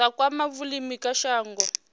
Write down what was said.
zwa kwama vhulimi kha shango